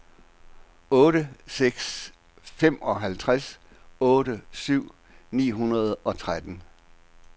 otte seks otte syv femoghalvtreds ni hundrede og tretten